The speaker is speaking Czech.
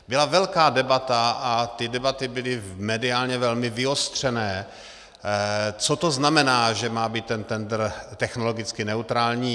Byla velká debata, a ty debaty byly mediálně velmi vyostřené, co to znamená, že má být ten tendr technologicky neutrální.